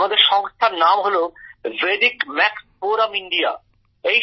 আমাদের সংস্থার নাম হল ভেদিক ম্যাক্স ফোরাম ইন্ডিয়া